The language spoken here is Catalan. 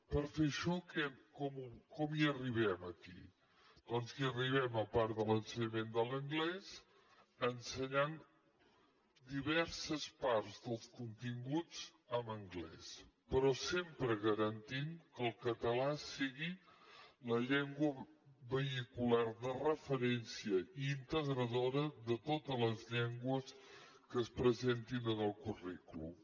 per fer això com hi arribem aquí doncs hi arribem a part de l’ensenyament de l’anglès ensenyant diverses parts dels continguts en anglès però sempre garantint que el català sigui la llengua vehicular de referència i integradora de totes les llengües que es presentin en el currículum